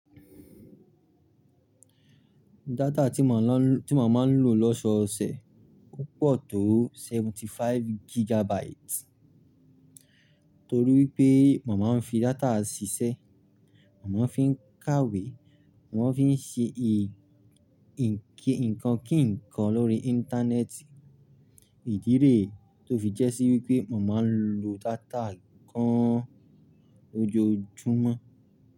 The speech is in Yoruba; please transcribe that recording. Data tí mò máa ń lò lọ́sọ̀ọ̀sẹ̀ opoo tó 75 gigabytes. Torí wípé mò máa ń fi data ṣiṣẹ́, mò máa ń fi ń kàwé, mò máa ń fi ń ṣe ì-nǹkan kí nǹkan lórí Íńtánẹ́ẹ̀tì. Ìdí rẹ̀ tó fi jẹ́ sí wípé mò máa ń lo data gan lójoójúmọ́.